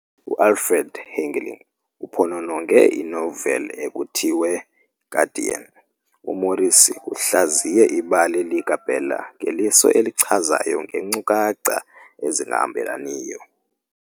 UAlfred Hickling uphonononge inoveli ekuthiwe "Guardian" - "UMorrissy uhlaziye ibali likaBella ngeliso elichazayo ngeenkcukacha ezingahambelaniyo.